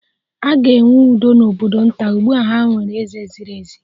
A ga-enwe udo n'obodo nta, ugbu a ha nwere eze ziri ezi